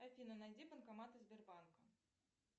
афина найди банкоматы сбербанка